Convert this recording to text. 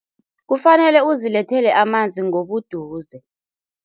Kufanele uzilethele amanzi ngobuduze.